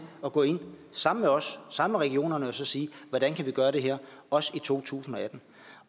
at gå ind sammen med os og sammen med regionerne og sige hvordan kan vi gøre det her også i 2018